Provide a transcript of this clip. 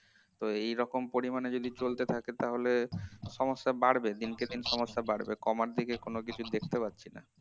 তো এরকম পরিমাণে যদি চলতে থাকে তাহলে সমস্যা বাড়বে দিনকে দিন সমস্যা বাড়বে কমার দিকে কোনো কিছু দেখতে পারছি না